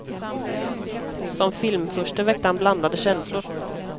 Som filmfurste väckte han blandade känslor.